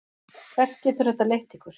Hvert getur þetta leitt ykkur?